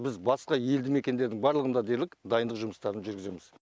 біз басқа елді мекендердің барлығында дерлік дайындық жұмыстарын жүргіземіз